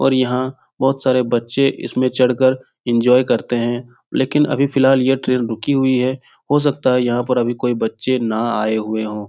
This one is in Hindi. और यहां बहुत सारे बच्चे इसमें चढ़ कर एन्जॉय करते है लेकिन अभी फ़िलहाल ये ट्रैन रुकी हुई है हो सकता है यहां पर अभी कोई बच्चे ना आये हुए हो।